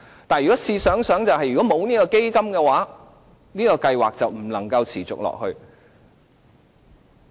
但試想想，如果沒有這個基金，計劃便不能持續下去。